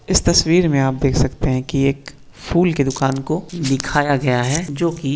इस तस्वीर में आप देख सकते है कि एक फूल के दुकान को दिखाया गया है जो कि --